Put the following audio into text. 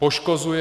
Poškozuje.